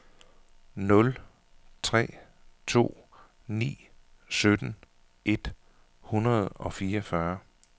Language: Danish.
nul tre to ni sytten et hundrede og fireogfyrre